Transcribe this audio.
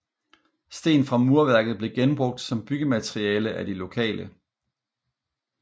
Sten fra murværket blev genbrugt som byggemateriale af de lokale